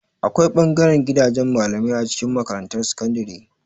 Akwai ɓangaren gidajen malamai a cikin makarantar sakandare.